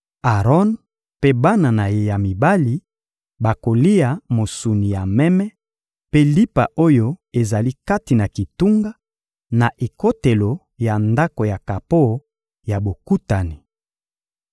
Aron mpe bana na ye ya mibali bakolia mosuni ya meme mpe lipa oyo ezali kati na kitunga, na ekotelo ya Ndako ya kapo ya Bokutani.